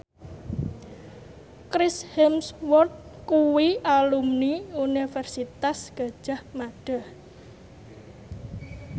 Chris Hemsworth kuwi alumni Universitas Gadjah Mada